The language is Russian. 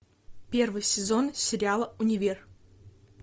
первый сезон сериала универ